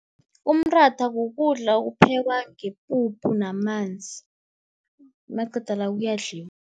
Umratha kukudla okuphekwa ngepuphu namanzi, maqeda la kuyadliwa.